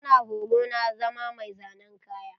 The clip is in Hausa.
Tana horo na zama mai zanen kaya.